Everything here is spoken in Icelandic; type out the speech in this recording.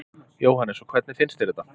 Jóhannes: Og hvernig finnst þér þetta?